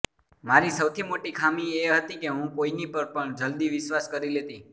મારી સૌથી મોટી ખામી એ હતી કે હું કોઈની પર પણ જલ્દી વિશ્વાસ કરી લેતી